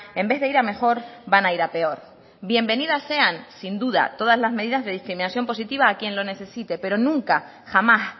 en vez de ir a mejor van a ir a peor bienvenidas sean sin duda todas las medidas de discriminación positiva a quien lo necesite pero nunca jamás